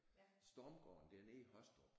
Stormgården dernede i Håstrup